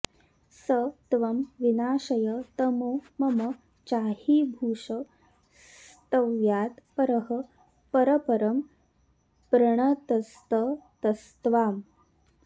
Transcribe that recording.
स त्वं विनाशय तमो मम चाहिभूष स्तव्यात् परः परपरं प्रणतस्ततस्त्वाम्